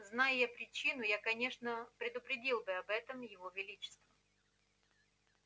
знай я причину я конечно предупредил бы об этом его величество